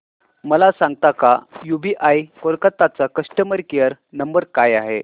मला सांगता का यूबीआय कोलकता चा कस्टमर केयर नंबर काय आहे